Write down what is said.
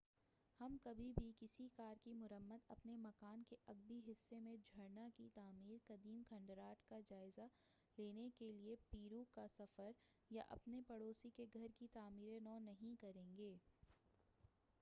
ہم کبھی بھی کسی کار کی مرمت اپنے مکان کے عقبی حصہ میں جھرنا کی تعمیر قدیم کھنڈرات کا جائزہ لینے کیلئے پیرو کا سفر یا اپنے پڑوسی کے گھر کی تعمیرِ نو نہیں کرین گے